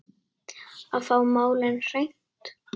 Að fá málin á hreint